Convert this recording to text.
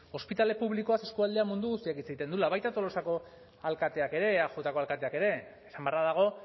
ospitale publikoaz eskualdea mundu guztiak hitz egiten duela baita tolosako alkateak ere eajko alkateak ere esan beharra dago